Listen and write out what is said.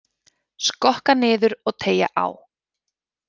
Skokka niður og teygja á.